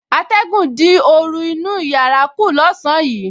Atẹ̀gùn dín oru inú yàrá kù lọ́sàn-án yìí